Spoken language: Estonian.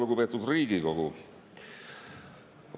Lugupeetud Riigikogu!